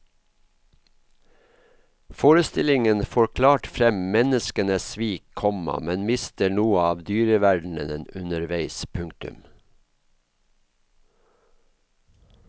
Forestillingen får klart frem menneskenes svik, komma men mister noe av dyreverdenen underveis. punktum